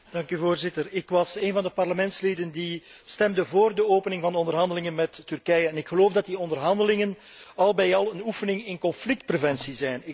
Voorzitter, ik was een van de parlementsleden die vóór de opening van de onderhandelingen met Turkije stemde, en ik geloof dat die onderhandelingen al met al een oefening in conflictpreventie zijn.